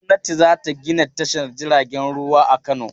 Gwamnati za ta gina tashar jiragen ruwa a Kano.